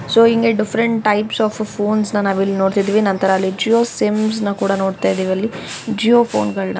So ಹಿಂಗೆ different types of ಫೊನೆಸ್ನ ನಾವು ಇಲ್ಲಿ ನೋಡತ್ತಿದೀವಿ. ನಂತರ ಅಲ್ಲಿ ಜಿಯೋ ಸಿಮ್ಸ್ನ ಕೂಡಾ ನೋಡ್ತಾ ಇದೀವಿ ಅಲ್ಲಿ ಜಿಯೋ ಫೋನ್ ಗಳ್ನ.